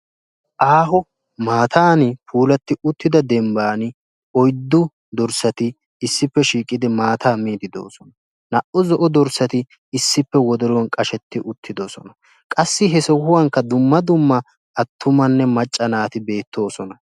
Aaho maattan puulatti dembban oyddu dorssatti maatta miidde de'osonna he sohuwan harattikka de'osonna.